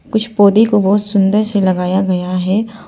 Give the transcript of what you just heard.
कुछ पौधे को बहोत सुंदर से लगाया गया है।